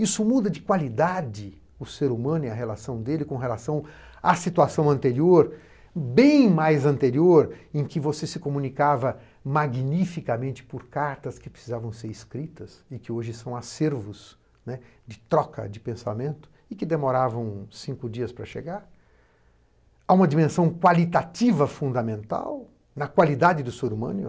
Isso muda de qualidade o ser humano e a relação dele com relação à situação anterior, bem mais anterior, em que você se comunicava magnificamente por cartas que precisavam ser escritas, e que hoje são acervos de troca de pensamento, e que demoravam cinco dias para chegar, a uma dimensão qualitativa fundamental na qualidade do ser humano.